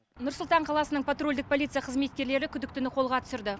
нұр сұлтан қаласының патрульдік полиция қызметкерлері күдіктіні қолға түсірді